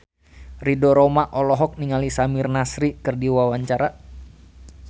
Ridho Roma olohok ningali Samir Nasri keur diwawancara